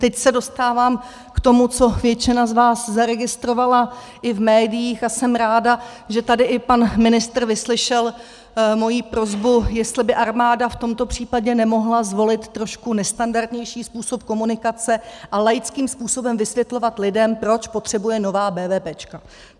Teď se dostávám k tomu, co většina z vás zaregistrovala i v médiích, a jsem ráda, že tady i pan ministr vyslyšel moji prosbu, jestli by armáda v tomto případě nemohla zvolit trošku nestandardnější způsob komunikace a laickým způsobem vysvětlovat lidem, proč potřebuje nová BVP.